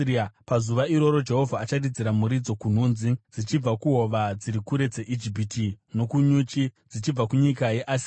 Pazuva iroro Jehovha acharidzira muridzo kunhunzi dzichibva kuhova dziri kure dzeIjipiti nokunyuchi dzichibva kunyika yeAsiria.